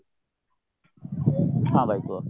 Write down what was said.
ହଁ ଭାଇ କୁହ